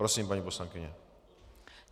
Prosím, paní poslankyně.